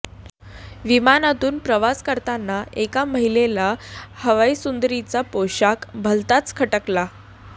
विमानातून प्रवास करताना एका महिलेला हवाईसुंदरीचा पोषाख भलताच खटकला